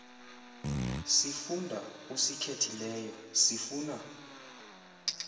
sifundo usikhethileyo sifuna